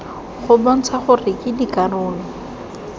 go bontsha gore ke dikarolo